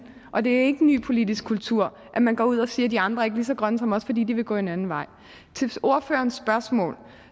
og det er ikke en ny politisk kultur at man går ud og siger at de andre ikke er lige så grønne som os fordi de vil gå en anden vej til ordførerens spørgsmål